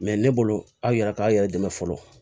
ne bolo aw yɛrɛ k'aw yɛrɛ dɛmɛ fɔlɔ